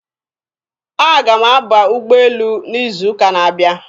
Aga m aba ụgbọelu n'izuụka na-abịa.